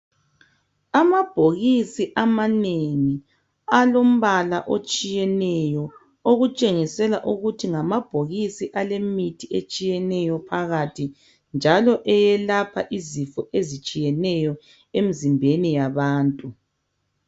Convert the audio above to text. Amabhokisi amanengi alombala otshiyeneyo . Okutshengisela ukuthi ngamabhokisi alemithi etshiyeneyo phakathi. Njalo eyelapha izifo ezitshiyeneyo emzimbeni yabantu .